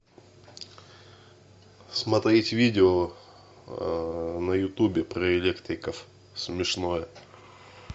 смотреть видео на ютубе про электриков смешное